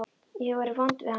Ég hef verið vond við hann.